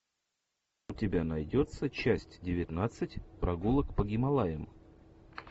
у тебя найдется часть девятнадцать прогулок по гималаям